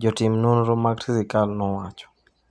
jotim nonro mag sirkal nowacho ni.